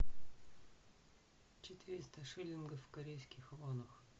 четыреста шиллингов в корейских вонах